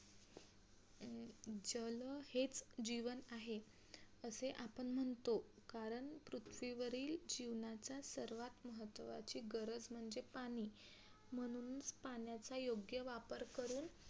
जल हेच जीवन आहे. असे आपण म्हणतो कारण पृथ्वीवरील जीवनाचा सर्वात महत्वाची गरज म्हणजे पाणी म्हणून पाण्याचा योग्य वापर करून